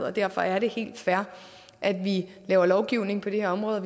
og derfor er det helt fair at vi laver lovgivning på det her område og